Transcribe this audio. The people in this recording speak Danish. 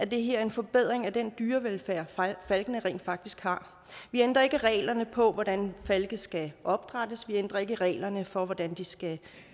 det her en forbedring af den dyrevelfærd falkene rent faktisk har vi ændrer ikke reglerne på hvordan falke skal opdrættes vi ændrer ikke i reglerne for hvordan de skal